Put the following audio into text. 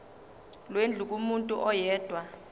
lwendlu kumuntu oyedwa